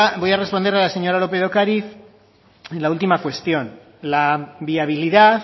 voy a responder a la señora lópez de ocariz en la última cuestión la viabilidad